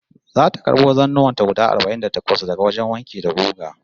Zata karbo zannuwan ta guda arba'in da takwas daga wajen wanki da guga